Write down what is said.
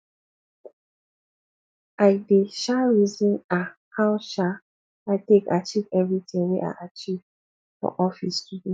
i dey um reason um how um i take achieve everytin wey i achieve for office today